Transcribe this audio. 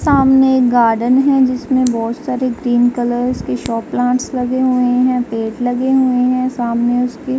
सामने गार्डन है जिसमें बोहोत सारे ग्रीन कलर के शो प्लांट्स लगे हुए हैं। पेड़ लगे हुए हैं सामने उसके --